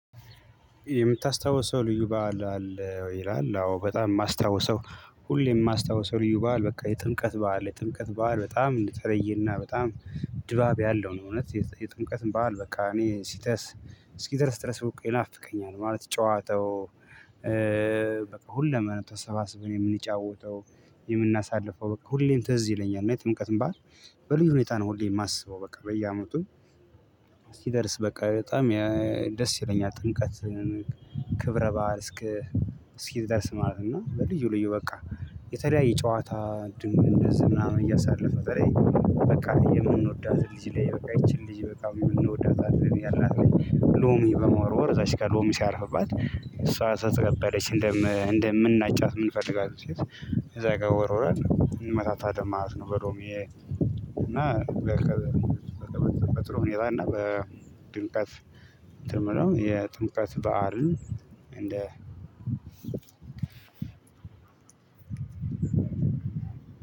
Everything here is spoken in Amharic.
የምታስታውሰው ልዩ በዓል አለ ወይ? ይላል አዎ በጣም የማስታውሰው ሁሌም የማስታውሰው ልዩ በዓል በቃ የጥምቀት በዓል የጥምቀት በዓል በጣም እንደተለየና በጣም ድባብ ያለው ነው። እውነት የጥምቀት በዓል በቃ እኔ ሲደርስ እስኪደርስ ድረስ ይናፍቀኛል ማለት ጨዋታው ሁሉም ተሰባስበን የምንጫወተው የምናሳልፈው በቃ ሁሌም ትዝ ይለኛል እና የጥምቀትን በዓል በልዩ ሁኔታ ነው ሁሌ የማስበው በቃ በየአመቱ ሲደርስ በቃ በጣም ደስ ይለኛል። ጥምቀት ክብረ በዓል እስኪ እስኪደርስ ማለት ነው። በልዩ ልዩ በቃ የተለያየ ጨዋታ እንደዚህ ምናምን እያሳለፍን በቃ የምንወዳትን ልጅ ላይ በቃ ይቺን ልጅ በቃ እንወዳታለን ያልናትን ልጅ ሎሚ በመወርወር እዛች ጋር ሎሚ ሲያርፍባት እሷ ከተቀበለች እንደምናጫት ምንፈልጋትን ሴት እዛ ጋር ወርዉረን እንመታታለን ማለት ነው። በሎሚ እና በጥሩ ሁኔታ እና በድምቀት የምለው የጥምቀት በዓልን እንደ